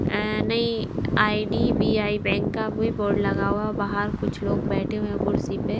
अह नहीं I D B I bank का भी बोर्ड लगा हुआ है बाहर कुछ लोग बैठे हुए हैं कुर्सी पे।